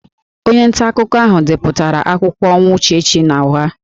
Onye ntaakụkọ ahụ depụtara akụkọ ọnwụ Uchechukwu n'ụgha